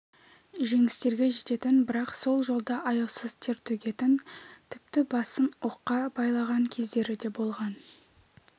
жеңістерге жететін бірақ сол жолда аяусыз тер төгетін тіпті басын оққа байлаған кездері де болған